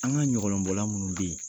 An ka ɲɔgɔlɔnbɔla minnu bɛ yen